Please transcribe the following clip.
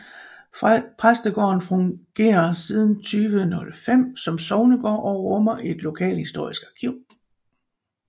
Præstegården fungerer siden 2005 som sognegård og rummer et lokalhistorisk arkiv